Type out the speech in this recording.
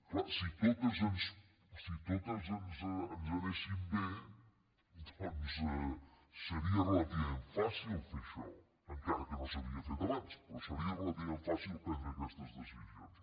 clar si totes ens anessin bé doncs seria relativament fàcil fer això encara que no s’havia fet abans però seria relativament fàcil prendre aquestes decisions